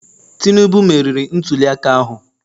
Tinubu meriri ntuliaka ahụ?